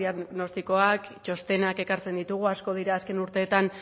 diagnostikoak txostenak ekartzen ditugu asko dira azken urteetan